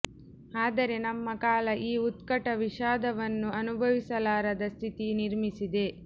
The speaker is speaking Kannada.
ಆದರೆ ನಮ್ಮ ಕಾಲ ಈ ಉತ್ಕಟ ವಿಷಾದವನ್ನು ಅನುಭವಿಸಲಾರದ ಸ್ಥಿತಿ ನಿರ್ಮಿಸಿದೆ